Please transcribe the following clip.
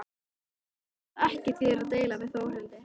Ég veit að ekki þýðir að deila við Þórhildi.